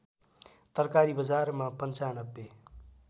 तरकारी बजारमा ९५